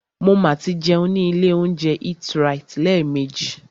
Mo ma tí jẹun ní ilé óúnjẹ EatRite lẹ́ẹ̀mejì.